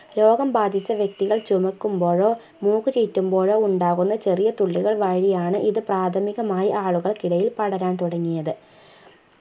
രോഗം ബാധിച്ച വ്യക്തികൾ ചുമക്കുമ്പോയോ മൂക്കുചീറ്റുമ്പോഴോ ഉണ്ടാവുന്ന ചെറിയ തുള്ളികൾ വഴിയാണ് ഇത് പ്രാഥമികമായി ആളുകൾക്കിടയിൽ പടരാൻതുടങ്ങിയത്